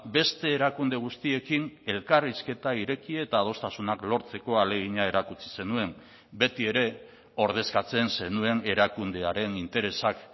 beste erakunde guztiekin elkarrizketa ireki eta adostasunak lortzeko ahalegina erakutsi zenuen beti ere ordezkatzen zenuen erakundearen interesak